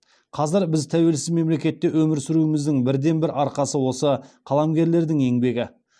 қазір біз тәуелсіз мемлекетте өмір сүруіміздің бірден бір арқасы осы қаламгерлердің еңбегі